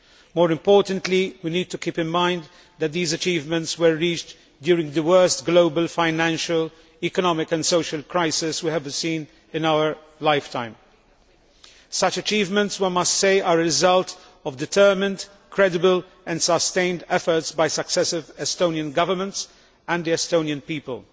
More importantly, we need to keep in mind that these achievements were reached during the worst global financial, economic and social crisis we have seen in our lifetimes. Such achievements, it must be said, are the result of determined, credible and sustained efforts by successive Estonian governments and the Estonian people.